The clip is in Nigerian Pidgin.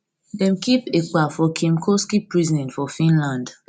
dem keep ekpa for kylmkoski prison for finland